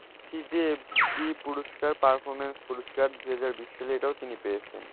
সিই যে F B পুরস্কার performance পুরস্কার দুহাজার বিশ সালে এটাও তিনি পেয়েছেন।